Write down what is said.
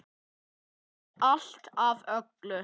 Átti allt af öllu.